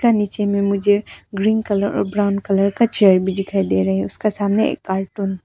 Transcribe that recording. यहां नीचे में मुझे ग्रीन कलर और ब्राउन कलर का चेयर भी दिखाई दे रहा है उसका सामने एक कार्टून --